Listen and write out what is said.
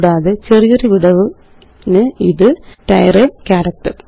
കൂടാതെ ചെറിയൊരു വിടവിന് ഇത് തിരയ് ക്യാരക്റ്റര്